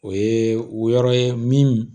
O ye o yɔrɔ ye min